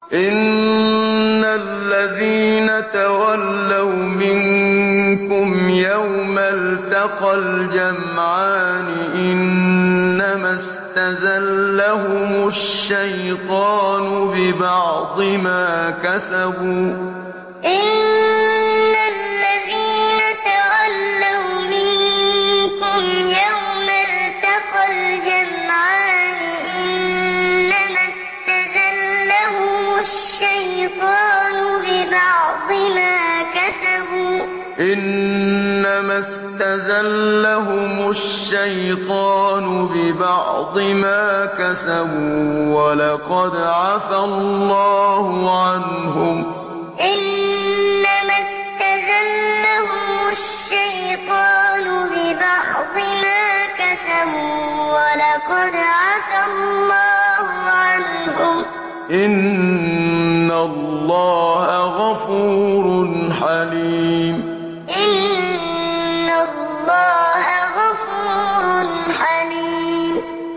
إِنَّ الَّذِينَ تَوَلَّوْا مِنكُمْ يَوْمَ الْتَقَى الْجَمْعَانِ إِنَّمَا اسْتَزَلَّهُمُ الشَّيْطَانُ بِبَعْضِ مَا كَسَبُوا ۖ وَلَقَدْ عَفَا اللَّهُ عَنْهُمْ ۗ إِنَّ اللَّهَ غَفُورٌ حَلِيمٌ إِنَّ الَّذِينَ تَوَلَّوْا مِنكُمْ يَوْمَ الْتَقَى الْجَمْعَانِ إِنَّمَا اسْتَزَلَّهُمُ الشَّيْطَانُ بِبَعْضِ مَا كَسَبُوا ۖ وَلَقَدْ عَفَا اللَّهُ عَنْهُمْ ۗ إِنَّ اللَّهَ غَفُورٌ حَلِيمٌ